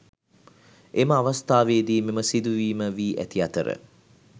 එම අවස්‌ථාවේදී මෙම සිදුවීම වී ඇති අතර